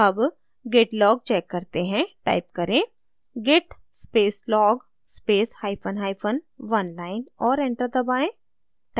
अब git log check करते हैं टाइप करें git space log space hyphen hyphen oneline और enter दबाएँ